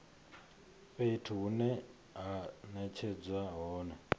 fhethu hune ha netshedzwa hone